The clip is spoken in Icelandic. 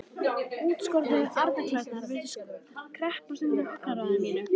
Útskornu arnarklærnar virtust kreppast undan augnaráði mínu.